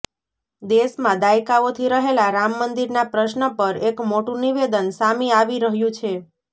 દેશમાં દાયકાઓથી રહેલાં રામ મંદિર ના પ્રશ્ન પર એક મોટું નિવેદન સામી આવી રહ્યું છે